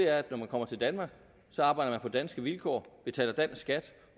er at når man kommer til danmark så arbejder man på danske vilkår betaler dansk skat